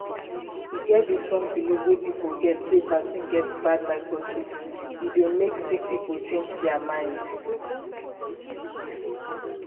e get dis wrong believe wey people get sey vaccine get bad microchips e dey make sick people change dear mind.